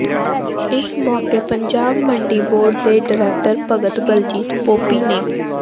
ਇਸ ਮੌਕੇ ਪੰਜਾਬ ਮੰਡੀ ਬੋਰਡ ਦੇ ਡਾਇਰੈਕਟਰ ਭਗਤ ਬਲਜੀਤ ਪੋਪੀ ਨੇ